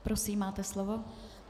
Prosím, máte slovo.